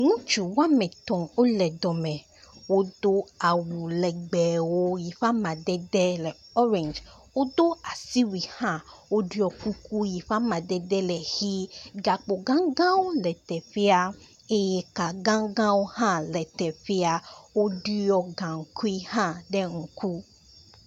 Ŋutsu wɔme etɔ̃ wo le dɔ me. Wodo awu legbewo yi ƒe amadede le orange, wodo asiwui hã woɖo kuku yi ƒe amadede le ʋi. gakpo gãgãwo le teƒea eye ka gagãwo hã le teƒe woɖɔ gaŋkui hã ɖe ŋku.